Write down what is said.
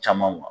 Caman